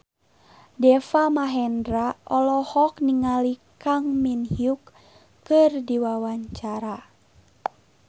Deva Mahendra olohok ningali Kang Min Hyuk keur diwawancara